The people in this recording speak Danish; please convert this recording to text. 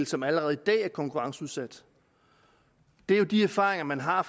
som allerede i dag er konkurrenceudsat det er jo de erfaringer man har